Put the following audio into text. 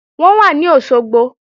Wọ́n wà ní Òṣogbo